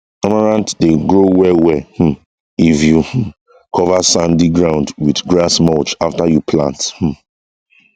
amaranth dey grow well well um if you um cover sandy ground with grass mulch after you plant um